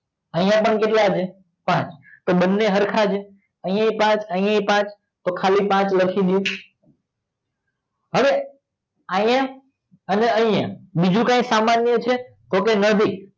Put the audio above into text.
આય પણ કેટલા છે પાંચ તો બને સરખા છે આય બી પાંચ ત્યાં બી પાંચ તો આય લખી દઈ હવે આય ને આય બીજું કી સામાન્ય છે તો કે નથી